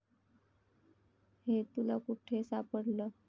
हे तुला कुठे सापडलं?